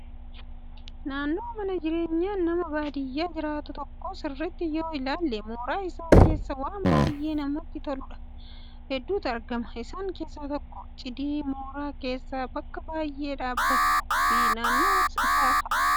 Naannoo mana jireenyaa nama baadiyyaa jiraatuu tokko sirriitti yoo ilaalle mooraa isaa keessa waan baay'ee namatti tolan hedduutu argama. Isaan keessaa tokko cidii mooraa keessa bakka baay'ee dhaabbatu fi naannoo isaa fa'aa